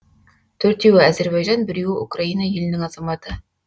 төртеуі әзірбайжан біреуі украина елінің азаматы